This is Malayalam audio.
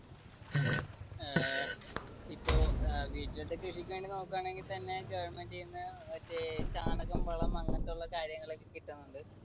അഹ് ഇപ്പൊ വീട്ടിലത്തെ കൃഷിക്ക് വേണ്ടി നോക്കുവാണെങ്കിൽ തന്നെ government ന്ന് മറ്റേ ചാണകം, വളം അങ്ങനത്തെ ഉള്ള കാര്യങ്ങളൊക്കെ കിട്ടുന്നുണ്ട്.